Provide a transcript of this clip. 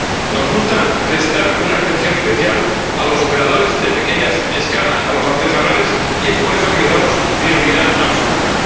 Nos gusta prestar una atención especial a los operadores de pequeña escala, a los artesanales, y es por eso que les damos prioridad absoluta.